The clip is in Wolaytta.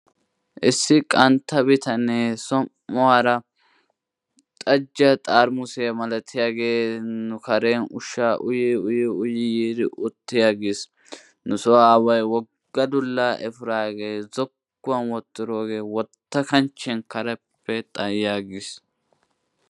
Issi qantta bitanee som'uwara xajjiya xaaramussiya milatiyagee nu karen ushshaa uyii uyi uyi yiidi utti aggiis. Nuso aaway woga dulaa ekkiraagee zokkuwan wotiroogee wota kanchchiyan kareppe xayi aggiis.